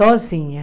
Sozinha.